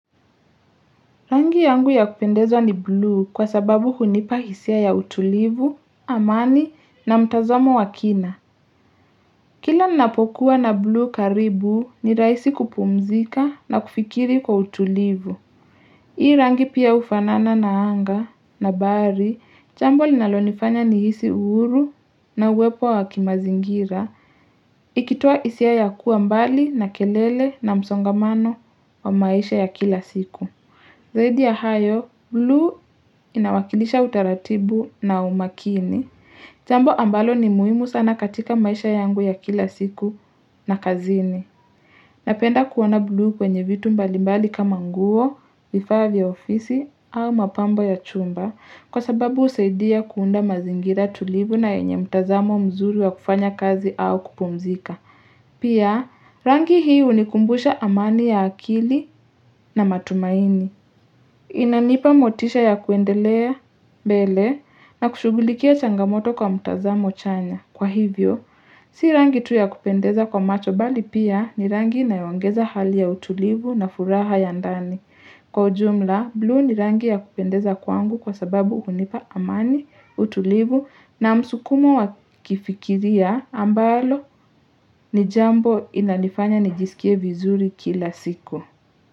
Rangi yangu ya kupendezwa ni blue kwa sababu hunipa hisia ya utulivu, amani na mtazamo wa kina. Kila ninapokuwa na blu karibu ni rahisi kupumzika na kufikiri kwa utulivu. Hii rangi pia ufanana na anga na bahari, jambo linalonifanya ni hisi uhuru na uwepo wa kimazingira. Ikitoa hisia ya kuwa mbali na kelele na msongamano wa maisha ya kila siku. Zaidi ya hayo, blu inawakilisha utaratibu na umakini. Jambo ambalo ni muhimu sana katika maisha yangu ya kila siku na kazini. Napenda kuona blu kwenye vitu mbalimbali kama nguo, vifaa vya ofisi au mapambo ya chumba. Kwa sababu husaidia kuunda mazingira tulivu na yenye mtazamo mzuri wa kufanya kazi au kupumzika. Pia, rangi hii unikumbusha amani ya akili na matumaini. Inanipa motisha ya kuendelea mbele na kushughulikia changamoto kwa mtazamo chanya. Kwa hivyo, si rangi tu ya kupendeza kwa macho bali pia ni rangi inayoongeza hali ya utulivu na furaha ya ndani. Kwa ujumla, blu ni rangi ya kupendeza kwangu kwa sababu hunipa amani, utulivu na msukumo wa kifikiria ambalo ni jambo inanifanya nijisikie vizuri kila siku.